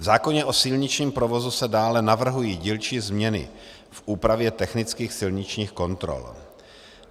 V zákoně o silničním provozu se dále navrhují dílčí změny v úpravě technických silničních kontrol.